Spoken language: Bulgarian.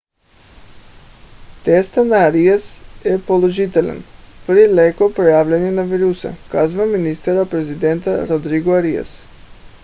тестът на ариас е положителен при леко проявление на вируса казва министър-председателят родриго ариас